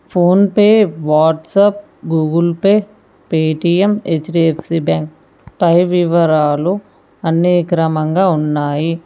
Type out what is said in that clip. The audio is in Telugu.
Phone pay WhatsApp Google Pay Paytm HDFC bank పై వివరాలు అన్ని క్రమంగా ఉన్నాయి.